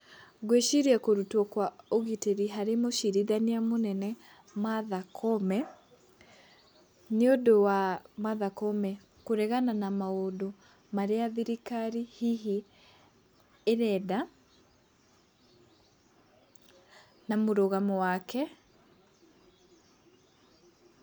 Ngwĩciria kũrũtwo kwa ũgitĩri harĩ mũcirithania mũnene Martha Koome, nĩ ũndũ wa Martha Koome kũregana na maũndũ marĩa thirikari hihi ĩrenda na mũrũgamo wake.